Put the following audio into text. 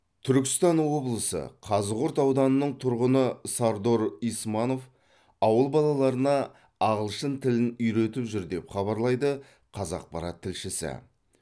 түркістан облысы қазығұрт ауданының тұрғыны сардор исманов ауыл балаларына ағылшын тілін үйретіп жүр деп хабарлайды қазақпарат тілшісі